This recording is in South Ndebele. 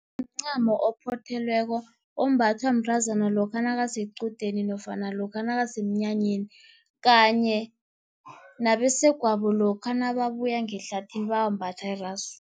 Mncamo ophothelweko, ombathwa mntazana lokha nakasequdeni nofana lokha nakasemnyanyeni, kanye nabesegwabo lokha nababuya ngehlathini bayalimbatha irasu.